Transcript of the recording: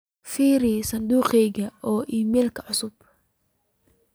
firi sanduqayga oo iimayl cusub